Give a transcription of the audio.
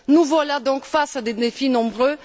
Nous voilà donc face à des défis nombreux.